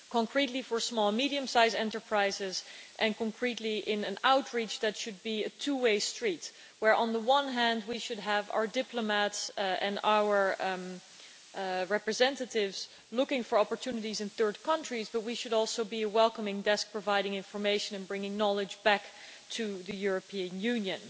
Concretely, that is, for small and medium sized enterprises and concretely in an outreach that should be a two way street on the one hand, we should have our diplomats and our representatives looking for opportunities in third countries, but we should also be a welcome desk providing information and bringing knowledge back to the European Union.